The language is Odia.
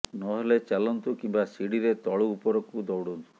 ନ ହେଲେ ଚାଲନ୍ତୁ କିମ୍ୱା ଶିଢ଼ିରେ ତଳୁ ଉପରକୁ ଦୌଡନ୍ତୁ